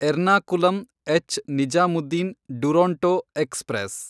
Ernakulam ಎಚ್.ನಿಜಾಮುದ್ದೀನ್ Duronto express